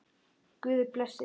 Guð blessi þig.